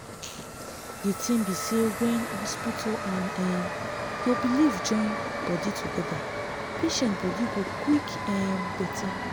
di thing be say when hospital and um ur belief join body together patient body go quick um better